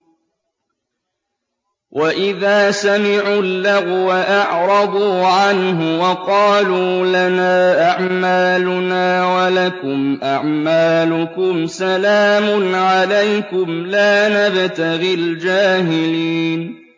وَإِذَا سَمِعُوا اللَّغْوَ أَعْرَضُوا عَنْهُ وَقَالُوا لَنَا أَعْمَالُنَا وَلَكُمْ أَعْمَالُكُمْ سَلَامٌ عَلَيْكُمْ لَا نَبْتَغِي الْجَاهِلِينَ